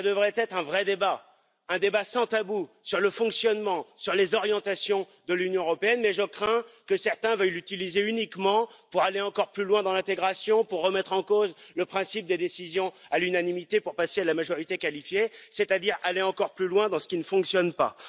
Ce devrait être un vrai débat, un débat sans tabou sur le fonctionnement et sur les orientations de l'Union européenne, mais je crains que certains veuillent l'utiliser uniquement pour aller encore plus loin dans l'intégration, pour remettre en cause le principe des décisions à l'unanimité pour passer à la majorité qualifiée, c'est à dire aller encore plus loin dans ce qui ne fonctionne pas.